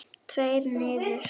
Tveir niður?